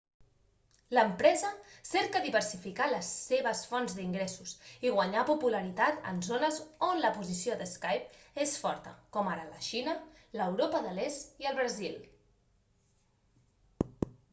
l'empresa cerca diversificar les seves fonts d'ingressos i guanyar popularitat en zones on la posició de skype és forta com ara la xina l'europa de l'est i el brasil